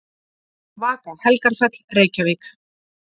Vaka Helgafell, Reykjavík.